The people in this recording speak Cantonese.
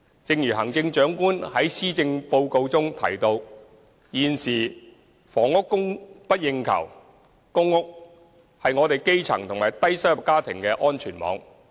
正如行政長官在施政報告中提到，現時房屋供不應求，公屋是基層及低收入家庭的安全網。